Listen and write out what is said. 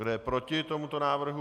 Kdo je proti tomuto návrhu?